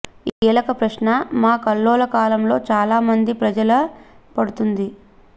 ఈ కీలక ప్రశ్న మా కల్లోల కాలంలో చాలా మంది ప్రజలు పడుతుంది